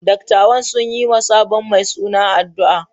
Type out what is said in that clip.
Dattawan sun yi wa sabon mai suna addu’a.